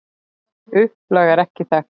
Upplag er ekki þekkt.